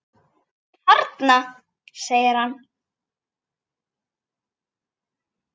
Þarna! segir hann.